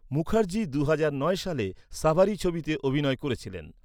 মুখার্জি দুহাজার নয় সালে 'সাভারি' ছবিতে অভিনয় করেছিলেন।